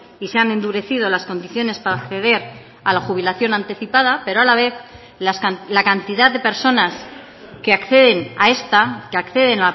y se han endurecido las condiciones para acceder a la jubilación anticipada pero a la vez la cantidad de personas que acceden a esta que acceden